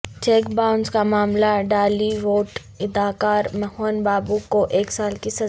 check bounce کا معاملہ Tollywood اداکار موہن بابو کو ایک سال کی سزا